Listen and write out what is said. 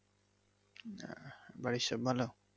আহ বাড়ির সব ভালো?